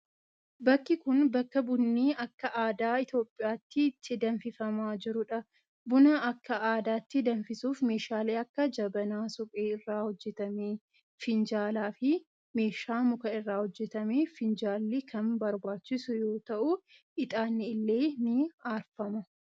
Bakki kun, bakka bunni akka aadaa Itoophiyaatti itti danfifamaa jiruu dha. Buna akka aadaatti danfisuuf meeshaaleen akka : jabanaa suphee irraa hojjatame, finjaala, fi meeshaa muka irraa hojjatame finjaalli kan barbaachisu yoo ta'u, ixaanni illee ni aarfama.